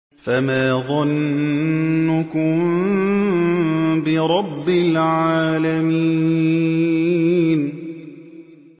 فَمَا ظَنُّكُم بِرَبِّ الْعَالَمِينَ